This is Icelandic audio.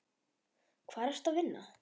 Hvar ertu að vinna?